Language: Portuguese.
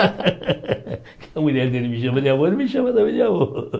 A mulher dele me chama de avô, ele me chama também de avô.